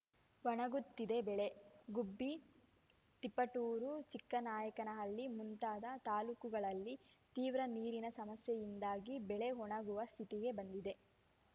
ಒಣಗುತ್ತಿದೆ ಬೆಳೆ ಗುಬ್ಬಿ ತಿಪಟೂರು ಚಿಕ್ಕನಾಯಕನಹಳ್ಳಿ ಮುಂತಾದ ತಾಲೂಕುಗಳಲ್ಲಿ ತೀವ್ರ ನೀರಿನ ಸಮಸ್ಯೆಯಿಂದಾಗಿ ಬೆಳೆ ಒಣಗುವ ಸ್ಥಿತಿಗೆ ಬಂದಿದೆ